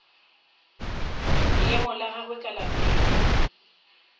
leemo la gagwe ka lapeng